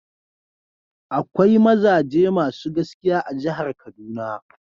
Akwai mazaje masu gaskiya a jihar kaduna.